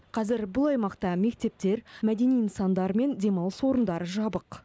қазір бұл аймақта мектептер мәдени нысандар мен демалыс орындары жабық